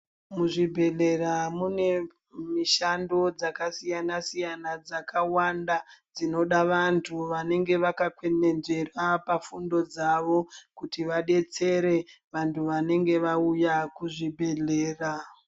Muzvibhedhlera mune mishando dzakasiyana-siyana dzakawanda dzinoda vantu vanenge vakakwenenzvera pafundo dzavo kuti vadetsere vanhu vanenge vauya kuzvibhedhlera.